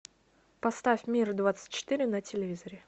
поставь мир двадцать четыре на телевизоре